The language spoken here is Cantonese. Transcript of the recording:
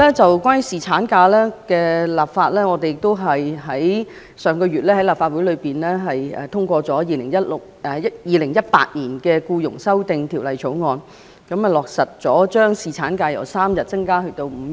此外，在侍產假方面，上個月立法會亦通過了《2018年僱傭條例草案》，落實將侍產假由3天增加至5天。